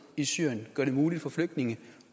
i syrien og gøre det muligt for flygtninge